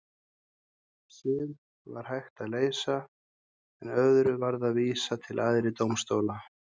Sum var hægt að leysa en öðrum varð að vísa til æðri dómstóla.